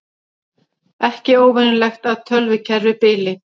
Ekki óvenjulegt að tölvukerfi bili